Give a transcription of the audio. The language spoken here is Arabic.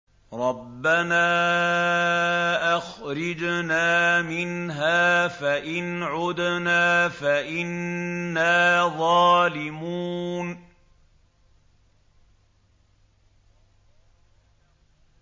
رَبَّنَا أَخْرِجْنَا مِنْهَا فَإِنْ عُدْنَا فَإِنَّا ظَالِمُونَ